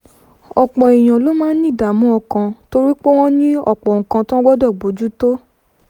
ọ̀pọ̀ èèyàn ló máa ń ní ìdààmú ọkàn torí pé wọ́n ní ọ̀pọ̀ nǹkan tí wọ́n gbọ́dọ̀ bójú tó